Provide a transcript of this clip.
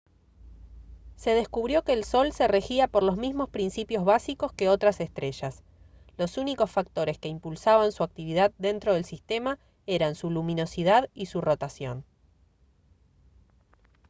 se descubrió que el sol se regía por los mismos principios básicos que otras estrellas los únicos factores que impulsaban su actividad dentro del sistema eran su luminosidad y su rotación